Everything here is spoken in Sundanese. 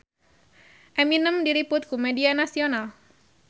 Eminem diliput ku media nasional